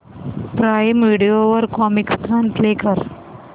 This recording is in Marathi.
प्राईम व्हिडिओ वर कॉमिकस्तान प्ले कर